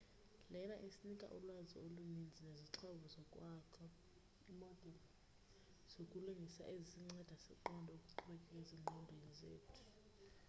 lena isinika ulwazi oluninzi nezixhobo zokwakho imodeli zokulingisa ezisinceda siqonde okuqhubeka ezinqondweni zethu